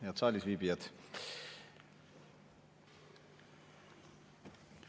Head saalis viibijad!